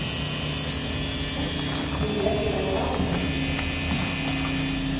Vibeke Benjaminsen